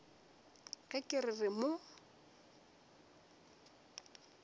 ge ke re ke mo